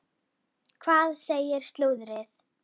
Hvað segir slúðrið?